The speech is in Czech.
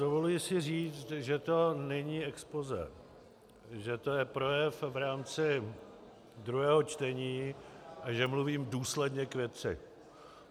Dovoluji si říct, že to není expozé, že to je projev v rámci druhého čtení a že mluvím důsledně k věci.